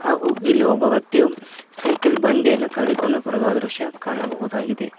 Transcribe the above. ಹಾಗು ಇಲ್ಲಿ ಒಬ್ಬ ವ್ಯಕ್ತಿಯು ಸೈಕಲ್ ಬಂಡೆಯನ್ನು ತಡೆಕೊಂಡು ಬರುವ ದೃಶ್ಯ ಕಾಣಬಹುದಾಗಿದೆ.